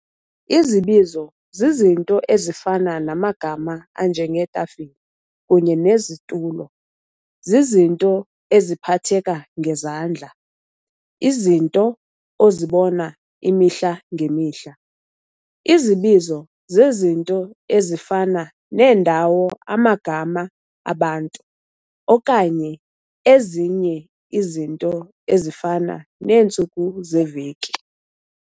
Izibizo z'izinto' ezifana namagama anjenge'tafile kunye ne'situlo'. zizizinto eziphatheka ngezandla, izinto ozibona imihla ngemihla. Izibizo zezinto ezifana neendawo, amagama abantu, okanye ezinye izinto ezifana neentsuku zeveki.